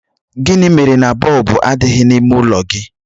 Gịnị mere na bọlbụ adịghị n'ime ọnụụlọ gị?